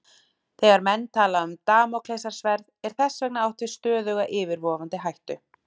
Þegar menn tala um Damóklesarsverð er þess vegna átt við stöðuga yfirvofandi hættu.